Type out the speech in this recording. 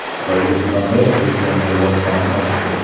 Tojikistonda pensionerlar soni oshdi.